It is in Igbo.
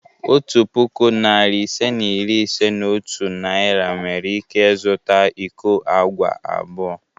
Otu puku, narị ise na iri ise na otu Naira nwere ike zụta iko agwa abụọ.